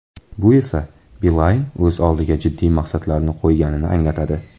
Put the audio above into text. Bu esa Beeline o‘z oldiga jiddiy maqsadlarni qo‘yganini anglatadi.